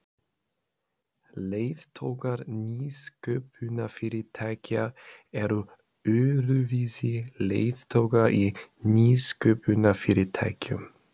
Leiðtogar nýsköpunarfyrirtækja Eru öðruvísi leiðtogar í nýsköpunarfyrirtækjum?